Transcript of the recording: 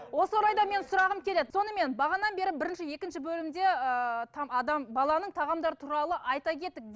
осы орайда мен сұрағым келеді сонымен бағандан бері біріші екінші бөлімде ііі адам баланың тағамдары туралы айта кеттік